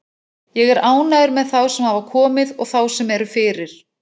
Ég er ánægður með þá sem hafa komið og þá sem eru fyrir.